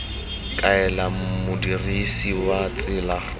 kaela modirisi wa tsela go